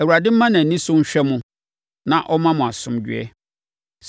Awurade mma nʼani so nhwɛ mo na ɔmma mo asomdwoeɛ.’